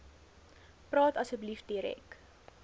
praat asseblief direk